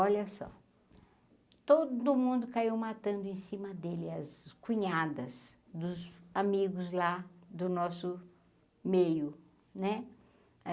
Olha só, todo mundo caiu matando em cima dele as cunhadas dos amigos lá do nosso meio, né?